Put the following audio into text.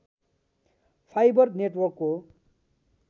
fibre नेटवर्कको